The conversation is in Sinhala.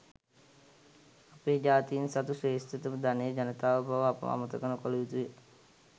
අපේ ජාතීන් සතු ශ්‍රේෂ්ඨතම ධනය ජනතාව බව අප අමතක නොකළ යුතු ය.